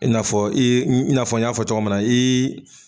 I na fɔ i i na fɔ n y'a fɔ cɔgɔ min na iii.